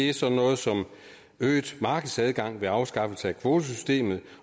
er sådan noget som øget markedsadgang ved afskaffelse af kvotesystemet